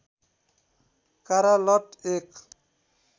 कारा लट एक